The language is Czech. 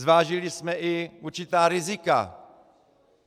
Zvážili jsme i určitá rizika.